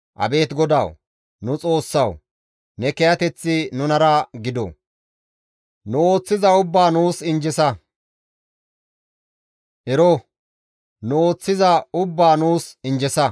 Abeet GODAWU! Nu Xoossawu! Ne kiyateththi nunara gido; nu ooththiza ubbaa nuus injjesa; ero! Nu ooththiza ubbaa nuus injjesa.